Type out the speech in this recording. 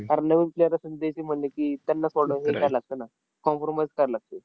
कारण नऊ player असून देयचे म्हणले की, पन्नास हे लागतं ना, form भरूमच खेळावं लागतं.